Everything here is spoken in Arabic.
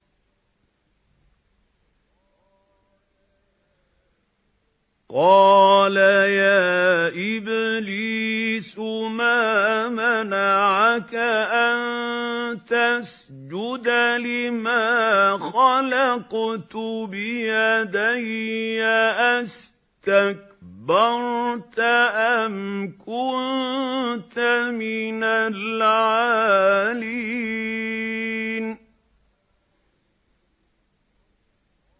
قَالَ يَا إِبْلِيسُ مَا مَنَعَكَ أَن تَسْجُدَ لِمَا خَلَقْتُ بِيَدَيَّ ۖ أَسْتَكْبَرْتَ أَمْ كُنتَ مِنَ الْعَالِينَ